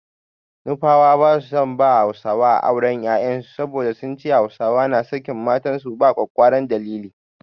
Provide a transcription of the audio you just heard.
Nufawa ba su son ba Hausawa auren 'ya'yansu saboda sun ce Hausawa na sakin matansu ba ƙwaƙƙwaran dalili.